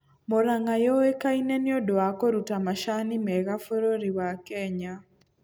Mũrang'a yũĩkaine nĩũndũ wa kũruta macani mega bũrũri wa kenya